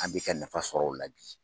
An bɛ kɛ nafa sɔrɔ o la bi